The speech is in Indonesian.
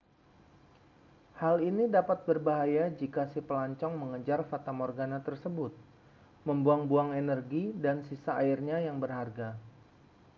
hal ini dapat berbahaya jika si pelancong mengejar fatamorgana tersebut membuang-buang energi dan sisa airnya yang berharga